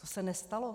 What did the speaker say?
To se nestalo.